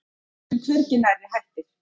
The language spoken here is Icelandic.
En við erum hvergi nærri hættir.